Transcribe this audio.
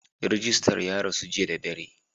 Rijistar ya rasu jiya da dare.